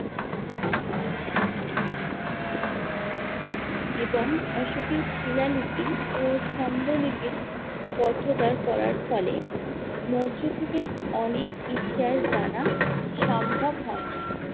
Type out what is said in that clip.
এবং অশোকের শিলালিপি ও স্তম্ভলিপির পঠোদ্ধার করার ফলে মৌর্য যুগের অনেক ইতিহাস জানা সম্ভব হয় নি।